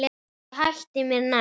Ég hætti mér nær.